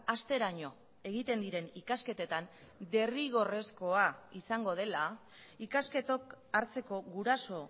hasteraino egiten diren ikasketetan derrigorrezkoa izango dela ikasketok hartzeko guraso